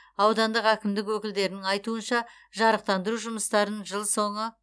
аудандық әкімдік өкілдерінің айтуынша жарықтандыру жұмыстарын жыл соңы